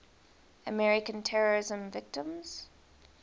american terrorism victims